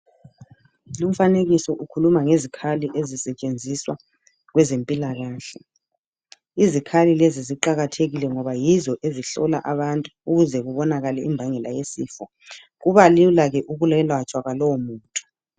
Lumfanekiso ukhuluma ngezikhali ezisetshenziswa kwezempilakahle, izikhali lezi ziqakathekile ngoba yizo ezihlola abantu ukuze kubonakale imbangela yesifo .Kubalulake ukuyelatshwa kwalowo muntu.